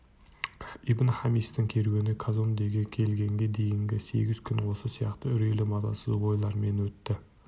ибн-хамистың керуені казондеге келгенге дейінгі сегіз күн осы сияқты үрейлі мазасыз ойлармен өтті